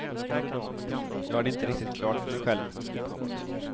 Jag har det inte riktigt klart för mig själv. punkt